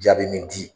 Jaabi min di